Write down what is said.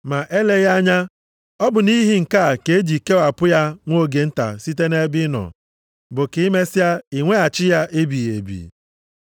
Ma eleghị anya, ọ bụ nʼihi nke a ka eji kewapụ ya nwa oge nta site nʼebe ị nọ, bụ ka i mesịa nweghachi ya ebighị ebi.